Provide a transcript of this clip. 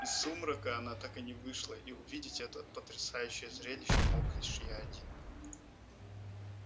из сумрака она так и не вышла и увидеть это потрясающее зрелище мог лишь я один